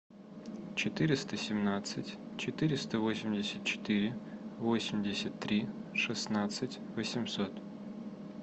четыреста семнадцать четыреста восемьдесят четыре восемьдесят три шестнадцать восемьсот